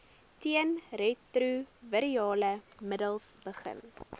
teenretrovirale middels begin